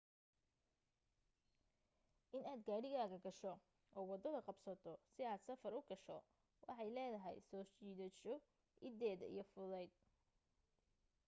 inaad gaarigaaga gasho oo waddada qabsato si aad safar u gasho waxay leedahay soo jiidasho iddeeda iyo fudayd